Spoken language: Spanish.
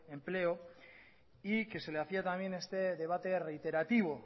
empleo y que se le hacía también a este debate reiterativo